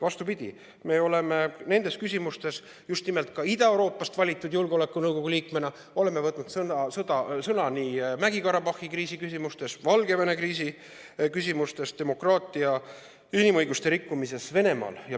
Vastupidi, me oleme just nimelt Ida-Euroopast valitud julgeolekunõukogu liikmena võtnud sõna nii Mägi-Karabahhi kriisi küsimustes, Valgevene kriisi küsimustes kui ka demokraatia, inimõiguste rikkumise küsimuses Venemaal.